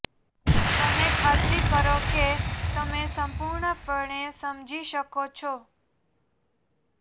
તમે ખાતરી કરો કે તમે સંપૂર્ણપણે સમજી શકો છો